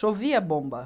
Chovia bomba.